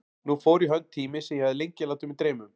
Nú fór í hönd tími sem ég hafði lengi látið mig dreyma um.